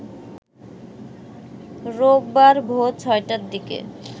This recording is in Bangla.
রোববার ভোর ৬টার দিকে